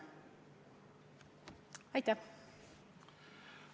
Aitäh!